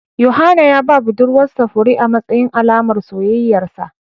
Yohana ya ba budurwar sa fure amatsayin Alaman soyayyar sa